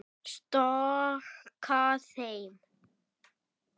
Storka þeim.